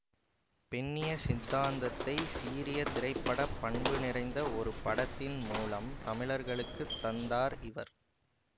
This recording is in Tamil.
பெண்ணிய சித்தாந்தத்தை சீரிய திரைப்பட பண்பு நிறைந்த ஒரு படத்தின் மூலம் தமிழர்களுக்கு தந்தார் இவர்